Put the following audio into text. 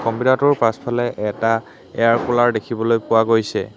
Computer টোৰ পিছফালে এটা এয়াৰ কুলাৰ দেখিবলৈ পোৱা গৈছে।